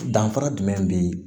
Danfara jumɛn be